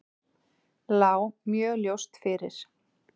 Lá mjög ljóst fyrir.